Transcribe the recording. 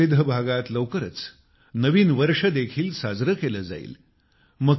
देशाच्या विविध भागात लवकरच नवीन वर्ष देखील साजरे केले जाईल